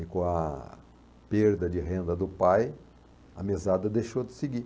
E com a perda de renda do pai, a mesada deixou de seguir.